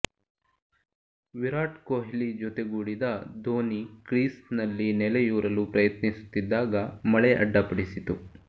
ವಿರಾಟ್ ಕೊಹ್ಲಿ ಜೊತೆಗೂಡಿದ ದೋನಿ ಕ್ರೀಸ್ನಲ್ಲಿ ನೆಲೆಯೂರಲು ಪ್ರಯತ್ನಿಸುತ್ತಿದ್ದಾಗ ಮಳೆ ಅಡ್ಡಿಪಡಿಸಿತು